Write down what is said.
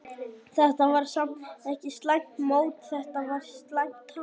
Þetta var samt ekki slæmt mót, þetta var slæmt tap.